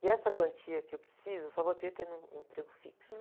E essa quantia que eu preciso, eu só vou ter tendo um emprego fixo.